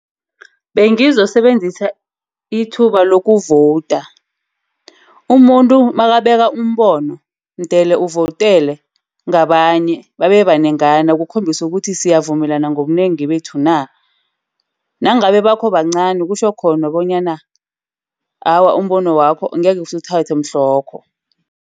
Bengizosebenzisa ithuba lokuvoda. Umuntu makabeka umbono mdele uvodele ngabanye babebanengana ukukhombisa ukuthi siyavumelana ngobunengi bethu na. Nangabe bakho bancani, kutjho khona bonyana awa umbono wakho angekhe siwuthathe mhlanokho.